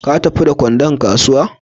Ka tafi da kwandon kasuwa?